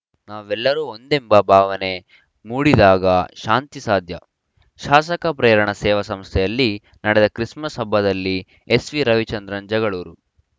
ನಾವೆಲ್ಲರೂ ಒಂದೆಂಬ ಭಾವನೆ ಮೂಡಿದಾಗ ಶಾಂತಿ ಸಾಧ್ಯ ಶಾಸಕ ಪ್ರೇರಣ ಸೇವಾ ಸಂಸ್ಥೆಯಲ್ಲಿ ನಡೆದ ಕ್ರಿಸ್‌ಮಸ್‌ ಹಬ್ಬದಲ್ಲಿ ಎಸ್‌ವಿ ರಾಮಚಂದ್ರ ಜಗಳೂರು